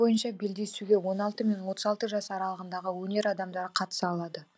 бойынша белдесуге он алты мен отыз алты жас аралығындағы өнер адамдары қатыса алады